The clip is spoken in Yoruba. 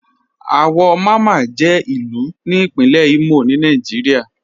Awọ Máma jẹ̀ ilu ni Ìpínlẹ̀ Imo ni Nàìjíríà.